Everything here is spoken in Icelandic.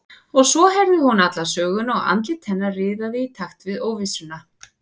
Og svo heyrði hún alla söguna og andlit hennar riðaði í takt við óvissuna.